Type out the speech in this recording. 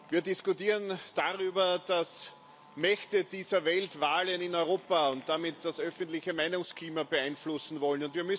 Wir diskutieren darüber, dass Mächte dieser Welt Wahlen in Europa und damit das öffentliche Meinungsklima beeinflussen wollen.